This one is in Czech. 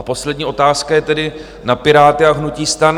A poslední otázka je tedy na Piráty a hnutí STAN.